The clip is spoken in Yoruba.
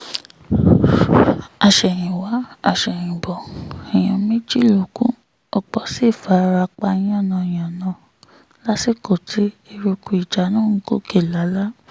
àsẹ̀yìnwá-àsẹ̀yìnbọ̀ èèyàn méjì ló kù ọ̀pọ̀ sì fara pa yánnayànna lásìkò tí eruku ìjà náà ń gòkè lálá